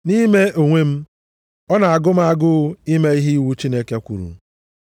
Nʼime ime onwe m, ọ na-agụ m agụụ ime ihe iwu Chineke kwuru.